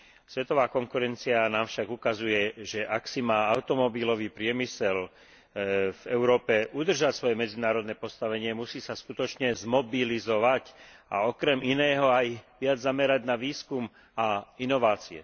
Svetová konkurencia nám však ukazuje, že ak si má automobilový priemysel v Európe udržať svoje medzinárodné postavenie, musí sa skutočne zmobilizovať a okrem iného aj viac zamerať na výskum a inovácie.